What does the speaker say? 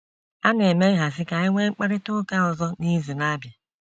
A na-eme nhazi ka a nwee mkparịta ụka ọzọ n’izu na-abịa.